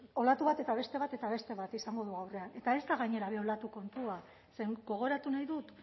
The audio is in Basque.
olatu bat eta beste bat eta beste bat izango dugu aurrean eta ez da gainera bi olatuen kontua ze gogoratu nahi dut